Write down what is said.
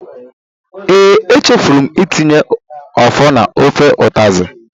Ee, echefuru m itinye ofor na ofe utazi.